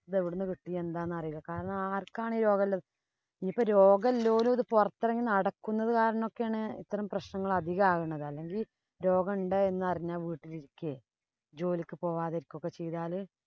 ഇതെവിടുന്നു കിട്ടി. എന്താന്നറിയില്ല. കാരണം, ആര്‍ക്കാണ് ഈ രോഗമുള്ളത്. ഇനിപ്പോ രോഗോള്ളോരും പുറത്തിറങ്ങി നടക്കുന്നത് കാരണം ഒക്കെയാണ് ഇത്തരം പ്രശ്നങ്ങള്‍ അധികം ആകണത്. അല്ലെങ്കില്‍ രോഗം ഉണ്ട് എന്നറിഞ്ഞാല്‍ വീട്ടില് ഇരിക്കയോ, ജോലിക്ക് പോവാതെ ഇരിക്കുകയോ ഒക്കെ ചെയ്താല്